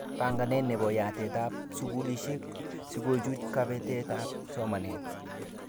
Banganet nebo yatetab skulishek sikochuch kabetetab somanet